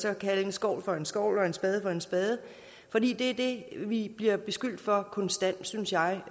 og kalde en skovl for en skovl og en spade for en spade for det er det vi bliver beskyldt for konstant synes jeg